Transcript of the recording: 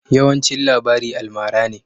Yawancin labari almara ne.